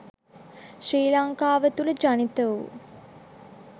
ශ්‍රී ලංකාව තුළ ජනිත වූ